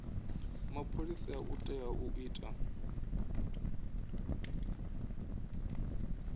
mapholisa u tea u ita